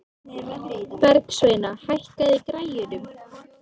Og já já.